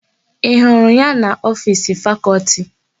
Ị hụrụ ya n'ofiisi Fakọlti?